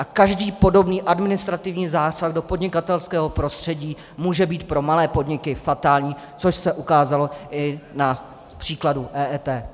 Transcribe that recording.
A každý podobný administrativní zásah do podnikatelského prostředí může být pro malé podniky fatální, což se ukázalo i na příkladu EET.